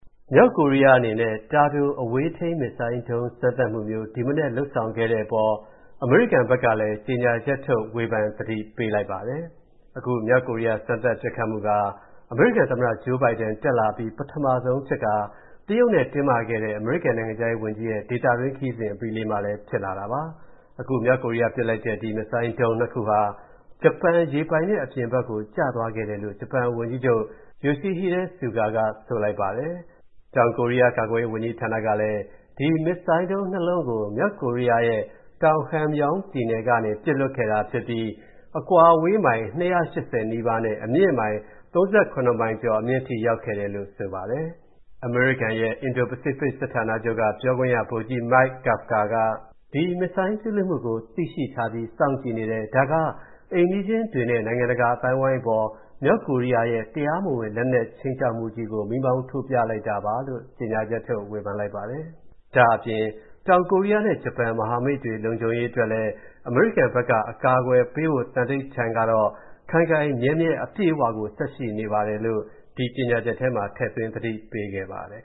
မြောက်ကိုရီးယားအနေနဲ့ တာတိုပစ် ပဲ့ထိန်းဒုံးကျည် စမ်းသပ်မှု ဒီမနက်လုပ်ဆောင်ခဲ့တဲ့အပေါ် အမေရိကန်ဘက်ကလည်း ပြန်ဝေဖန်သတိပေးလိုက်ပါတယ်။ အခုမြောက်ကိုရီးယား စမ်းသပ်ပစ်ခတ်မှုက အမေရိကန်သမ္မတ Joe Biden တက်လာအပြီး ပထမဆုံးဖြစ်ခါ တရုတ်နဲ့တင်းမာစွာ ဆွေးနွေးမှုတွေ ဖြစ်ပေါ်ခဲ့တဲ့ အမေရိကန်နိုင်ငံခြားရေးဝန်ကြီးရဲ့ ဒေသတွင်း ခရီးစဉ်အပြီးလေးမှာလည်း ဖြစ်လာတာပါ။ အခု မြောက်ကိုရီးယားပစ်လိုက်တဲ့ ဒီ ပဲ့ထိန်းဒုံးကျည် နှစ် ခုဟာ ဂျပန်ရေပိုင်နက်အပြင်ဘက်ကို ကျသွားခဲ့တယ်လို့ ဂျပန်ဝန်ကြီးချုပ် Yoshihide Suga က ဆိုပါတယ်။ တောင်ကိုရီးယား ကာကွယ်ရေးဝန်ကြီးဌာနကလည်း ဒီ ပဲ့ထိန်းဒုံးကျည် နှစ် လုံးကို မြောက်ကိုရီးယားရဲ့ တောင် Hamgyong ပြည်နယ်ကနေ ပစ်လွှတ်ခဲ့တာဖြစ်ပြီး အကွာအဝေးမိုင် ၂၈၀ နီးပါးနဲ့ အမြင့်မိုင် ၃၇ မိုင်ကျော်အထိ ရောက်ခဲ့တယ်လို့ ဆိုပါတယ်။ အမေရိကန်ရဲ့ အင်ဒို-ပစိဖိတ်စစ်ဌာနချုပ်က ပြောခွင့်ရ ဗိုလ်ကြီး Mike Kafka က ဒီဒုံးကျည်ပစ်လွှတ်မှုကို သိထားပြီး စောင့်ကြည့်နေတယ်။ ဒါက အိမ်နီးချင်းတွေနဲ့ နိုင်ငံတကာအသိုင်းအဝိုင်းအပေါ် မြောက်ကိုရီးယားရဲ့ တရားမဝင်လက်နက်ခြိမ်းခြောက်မှုကြီးကို မီးမောင်း ထိုးပြလိုက်တာပါလို့ ကြေညာချက်ထုတ်ဝေဖန်လိုက်ပါတယ်။ ဒါ့အပြင် တောင်ကိုရီးယားနဲ့ ဂျပန် မဟာမိတ်တွေလုံခြုံရေးအတွက် အမေရိကန်ဘက်က အကာအကွယ်ပေးဖို့ သန္တိဌာန်ကတော့၊ ခိုင်ခိုင်မြဲမြဲ အပြည့်အဝကို ဆက်ရှိနေပါတယ်လို့လည်း၊ ဒီကြေညာချက်ထဲမှာ ထည့်သွင်း သတိပေးခဲ့ပါတယ်